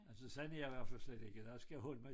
Altså sådan er jeg i hvert fald slet ikke jeg skal holde mig